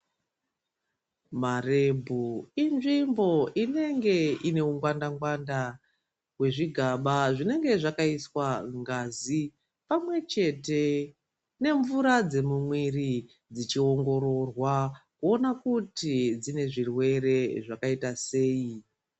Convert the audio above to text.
Marebhu inzvimbo inenge ine ungwandagwanda hwezvigaba zvinenge zvakaiswa ngazi pamwechete nemvura dzemumwiri dzichiongororwa kuona kuti dzine zvirwre zvakaita sei dzine ngazi yakaita sei.